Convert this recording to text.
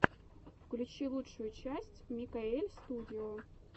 включи лучшую часть микаэльстудио